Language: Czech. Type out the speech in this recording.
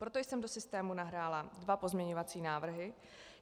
Proto jsem do systému nahrála dva pozměňovací návrhy.